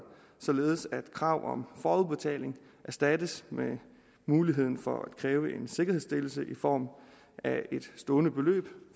således at krav om forudbetaling erstattes med muligheden for at kræve en sikkerhedsstillelse i form af et stående beløb